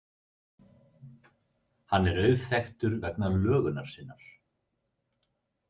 Hann er auðþekktur vegna lögunar sinnar.